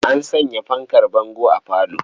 An sanya fankar bango a falo.